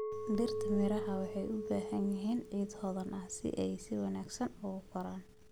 Dhirta miraha waxay u baahan yihiin ciid hodan ah si ay si wanaagsan u koraan.